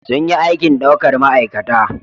Sun yi aikin daukar ma'aikata